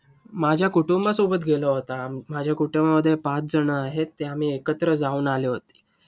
माझ्या कुटुंबासोबत गेला होता. माझ्या कुटुंबामध्ये पाच जण आहेत. ते आम्ही एकत्र जाऊन आले होते.